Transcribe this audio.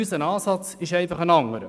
Unser Ansatz ist einfach ein anderer.